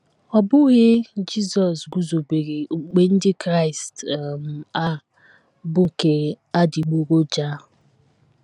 Ọ bụghị Jizọs guzobere okpukpe Ndị Kraịst um a bụ́ nke adịgboroja.